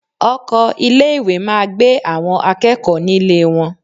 Ọkọ̀ ilé ìwé máa gbé àwọn akẹ́kọ̀ọ́ nílé wọn.